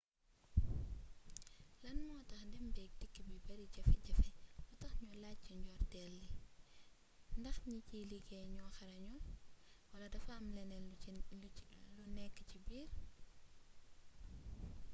lane motax dém béek dikk bi bari jafe jafe lu tax ñu lajjee ci ndortéel li ndax ñi ciy liggéey ñoo xarañul wala dafa am leneen lu nekk ci biir